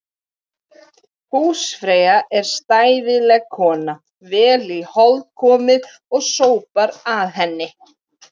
Húsfreyja er stæðileg kona, vel í hold komið og sópar að henni.